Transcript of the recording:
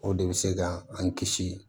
O de bɛ se ka an kisi